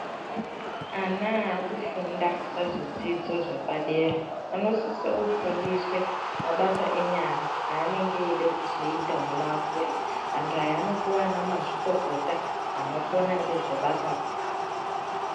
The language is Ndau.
Ana akufunda pazvidzidzo zvepadera anosiso kufundiswe mabasa enyara anenge eide kuzoita ona akura. Antu aya anopuva ana mazvikokota anokona ngezvebasa ronaro.